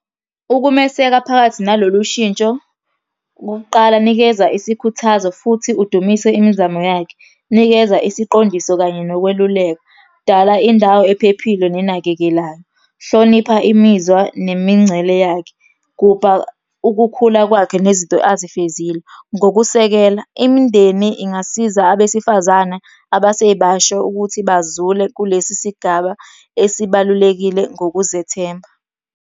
Ukumeseka phakathi nalolu shintsho, okokuqala, nikeza isikhuthazo futhi udumise imizamo yakhe. Nikeza isiqondiso kanye nokweluleka. Dala indawo ephephile nenakekelayo. Hlonipha imizwa nemingcele yakhe. Gubha ukukhula kwakhe, nezinto azifezile ngokusekela. Imindeni ingasiza abesifazane abasebasha ukuthi bazule kulesi sigaba esibalulekile ngokuzethemba.